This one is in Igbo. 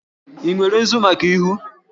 Ị nwere nzu maka ihu?